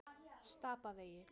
Stapavegi